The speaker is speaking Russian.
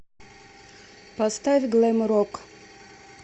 поставь глэм рок